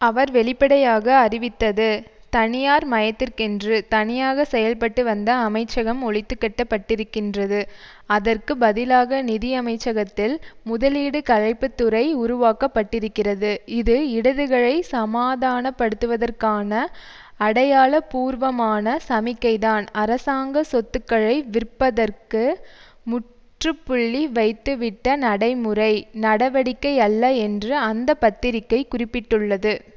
அவர் வெளிப்படையாக அறிவித்தது தனியார் மயத்திற்கென்று தனியாக செயல்பட்டுவந்த அமைச்சகம் ஒழித்துக்கட்டப்பட்டிருக்கின்றது அதற்கு பதிலாக நிதி அமைச்சகத்தில் முதலீடு களைப்புத்துறை உருவாக்க பட்டிருக்கிறது இது இடதுகளை சமாதானப்படுத்துவதற்கான அடையாள பூர்வமான சமிக்கைதான் அரசாங்க சொத்துக்களை விற்பதற்கு முற்றுப்புள்ளி வைத்துவிட்ட நடைமுறை நடவடிக்கையல்ல என்று அந்த பத்திரிக்கை குறிப்பிட்டுள்ளது